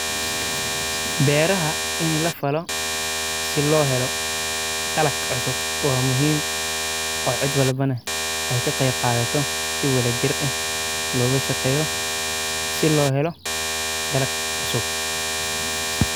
Beeraha ini lafalo si loohelo dalag cusub waa muhiim oo cid walba neh ey kaqeyb qaadhato si wadhajir eh looshaqeyo si loohelo dalag cusub.